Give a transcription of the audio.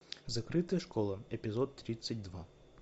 закрытая школа эпизод тридцать два